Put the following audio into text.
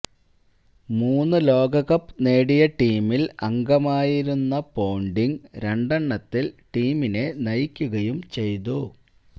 മൂന്ന് ലോകകപ്പ് നേടിയ ടീമിൽ അംഗമായിരുന്ന പോണ്ടിങ് രണ്ടെണ്ണത്തിൽ ടീമിനെ നയിക്കുകയും ചെയ്തു